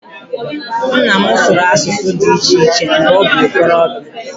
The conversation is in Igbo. Nna m sụrụ asụsụ dị iche iche mgbe ọ bụ okorobịa